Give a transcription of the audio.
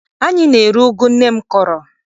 Anyị na-eri ụgụ nne m kọrọ.